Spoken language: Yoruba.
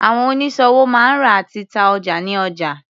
Àwọn oníṣòwò máa ń rà àti ta ọjà ní ọjà.